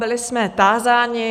Byli jsme tázáni.